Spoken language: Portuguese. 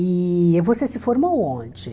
E você se formou onde?